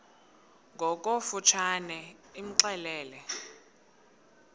ngokofu tshane imxelele